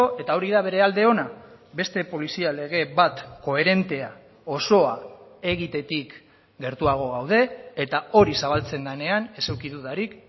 eta hori da bere alde ona beste polizia lege bat koherentea osoa egitetik gertuago gaude eta hori zabaltzen denean ez eduki dudarik